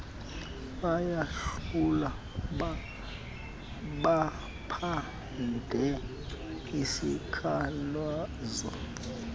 bayahlola baphande izikhalazo